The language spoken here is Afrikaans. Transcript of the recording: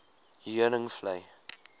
heuningvlei